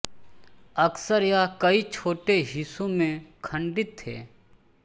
अक्सर यह कई छोटे हिस्सों में खंडित थे